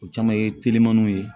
O caman ye telimaniw ye